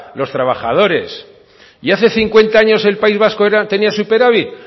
los trabajadores y hace cincuenta años el país vasco tenía superávit